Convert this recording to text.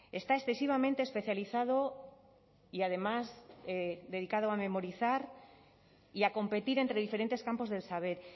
está excesivamente especializado y además dedicado a memorizar y a competir entre diferentes campos del saber